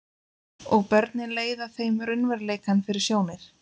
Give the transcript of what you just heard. Og börnin leiða þeim raunveruleikann fyrir sjónir.